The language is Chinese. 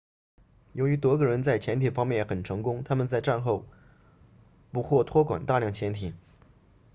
由于德国人在潜艇方面很成功他们在战后不获托管大量潜艇